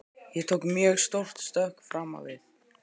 Ég tók mjög stórt stökk fram á við.